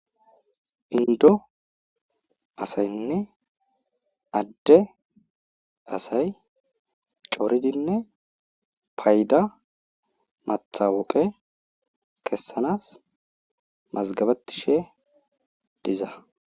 Inddo asaynne adde asay coridinne payda matawuqqe kesanas mazgabetishe diza